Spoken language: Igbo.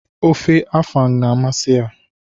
Ofe afang na amasi ya.